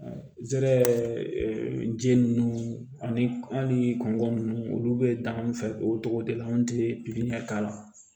Zɛrɛ ninnu ani hali kɔngɔ ninnu olu bɛ dan an fɛ o togo de la an tɛ pikiri k'a la